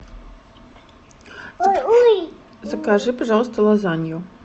закажи пожалуйста лазанью